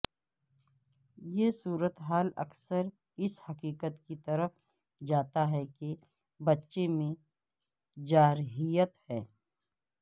یہ صورت حال اکثر اس حقیقت کی طرف جاتا ہے کہ بچے میں جارحیت ہے